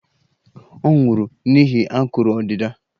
Ọ nwụrụ n'ihi akụrụ ọdịda